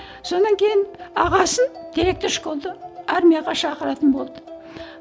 содан кейін ағасын директор школды армияға шақыратын болды